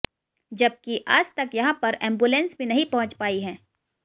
जबकि आज तक यहां पर एंबुलेंस भी नहीं पहुंच पाई है